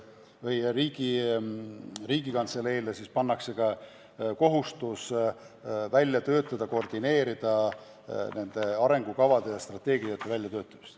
Riigikantseleile pannakse kohustus koordineerida vajalike arengukavade ja strateegiate väljatöötamist.